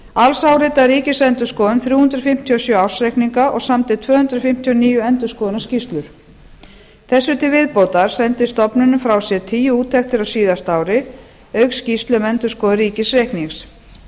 alls áritaði ríkisendurskoðun þrjú hundruð fimmtíu og sjö ársreikninga og samdi tvö hundruð fimmtíu og níu endurskoðunarskýrslur þessu til viðbótar sendi stofnunin frá sér tíu úttektir á síðasta ári auk skýrslu um endurskoðun